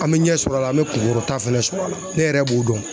An me ɲɛ sɔrɔ a la an me kunkɔrɔta fɛnɛ sɔrɔ ala ne yɛrɛ b'o dɔn